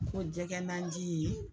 Ko jɛgɛ nanji.